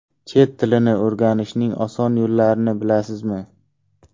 Chet tilini o‘rganishning oson yo‘llarini bilasizmi?.